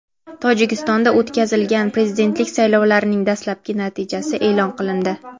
Tojikistonda o‘tkazilgan prezidentlik saylovlarining dastlabki natijasi e’lon qilindi.